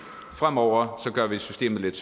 fremover gør vi systemet lidt